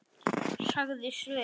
sagði Sveinn.